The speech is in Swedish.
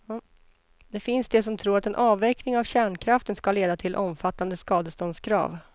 Det finns de som tror att en avveckling av kärnkraften ska leda till omfattande skadeståndskrav.